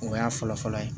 O y'a fɔlɔ fɔlɔ ye